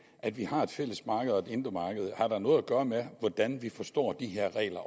at vi har et fælles marked og et indre marked har da noget at gøre med hvordan vi forstår de her regler